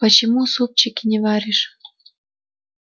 почему супчики не варишь